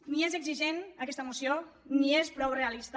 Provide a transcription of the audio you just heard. ni és exigent aquesta moció ni és prou realista